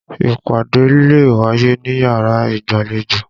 Ìpàdé lè wáyé níyàrá ìgbàlejò.